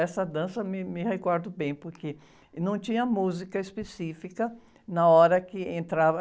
Essa dança me, me recordo bem, porque, e não tinha música específica na hora que entrava.